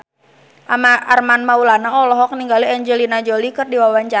Armand Maulana olohok ningali Angelina Jolie keur diwawancara